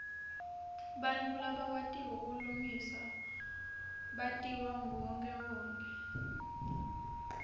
bantfu labakwatiko kulingisa batiwa nguwonkhewonkhe